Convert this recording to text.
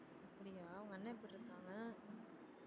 அப்படியா உங்க அண்ணன் எப்படி இருகாங்க